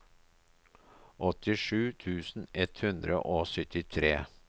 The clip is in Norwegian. åttisju tusen ett hundre og syttitre